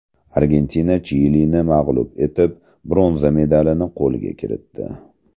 Argentina Chilini mag‘lub etib, bronza medalini qo‘lga kiritdi .